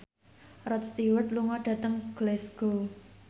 Rod Stewart lunga dhateng Glasgow